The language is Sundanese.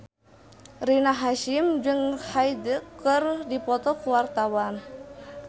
Rina Hasyim jeung Hyde keur dipoto ku wartawan